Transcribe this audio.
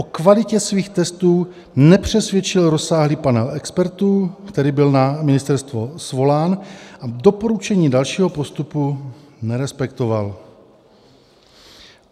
O kvalitě svých testů nepřesvědčil rozsáhlý panel expertů, který byl na ministerstvo svolán, a doporučení dalšího postupu nerespektoval.